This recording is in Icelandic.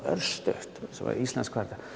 örstutt svo er Ísland hvað